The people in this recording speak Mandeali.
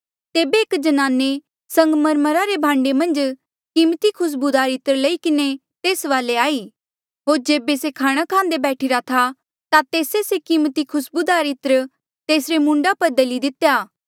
तेबे एक ज्नाने संगमरमरा रे भांडे मन्झ कीमती खुस्बूदार इत्र लई किन्हें तेस वाले आई होर जेबे से खाणा खांदे बैठीरा था ता तेस्से से कीमती खुस्बूदार इत्र तेसरे मूंडा पर दली दितेया